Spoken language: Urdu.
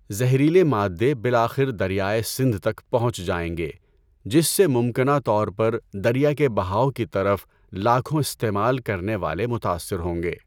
زہریلے مادے بالآخر دریائے سندھ تک پہنچ جائیں گے جس سے ممکنہ طور پر دریا کے بہاؤ کی طرف لاکھوں استعمال کرنے والے متاثر ہوں گے۔